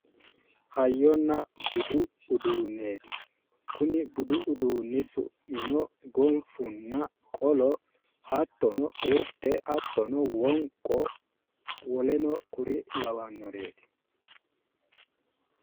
Hayyonna budu uduunneeti kuni budu uduunni su'mino gonfunna qolo hattono urde hattono wonqo woleno kuri labbannoreeti